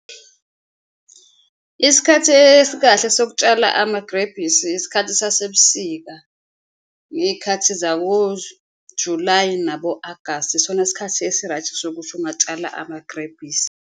Isikhathi esikahle sokutshala amagrebhisi isikhathi sasebusika ngey'khathi zako Julayi nabo-Agasti, isona sikhathi esi-right sokuthi ungatshala amagrebhisi.